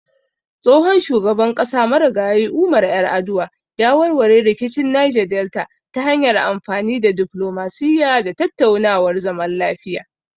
Tsohon shugaban ƙasa Marigayi Umar Yar'aduwa ya warware rikicin Neja Delta ta hanyar amfani da diflomasiyya da tattaunawar zaman lafiya.